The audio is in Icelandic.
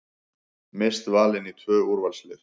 Mist valin í tvö úrvalslið